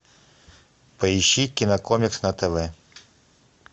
поищи кинокомикс на тв